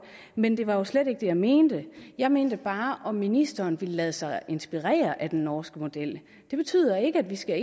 men det var jo slet ikke det jeg mente jeg mente bare om ministeren ville lade sig inspirere af den norske model det betyder ikke at vi skal